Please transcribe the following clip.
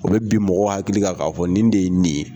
O bɛ bi mɔgɔ hakili kan k'a fɔ nin de ye nin ye.